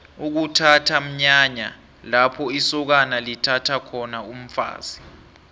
ukuthatha mnyanya lapho isokana lithatha khona umfazi